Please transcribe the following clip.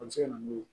A bɛ se ka na n'o ye